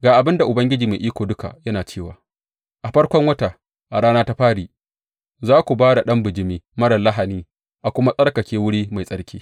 Ga abin da Ubangiji Mai Iko Duka yana cewa a farkon wata a rana ta fari za ku ba da ɗan bijimi marar lahani a kuma tsarkake wuri mai tsarki.